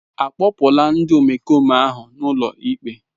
Akpụpụla ndị omekome ahụ ụlọikpe.